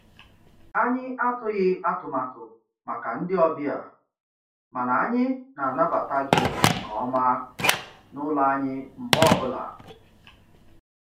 Anyị atụghị atụmatụ màkà ndị ọbịa, mana anyị na-anabata gị nke ọma n'ụlọ anyị mgbe ọ bụla.